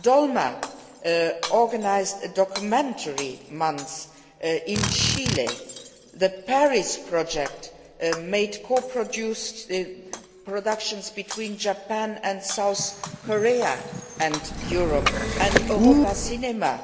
Dolma organised a documentary month in Chile, the Paris Project made co produced productions between Japan and South Korea and Europe, and EuropaCinema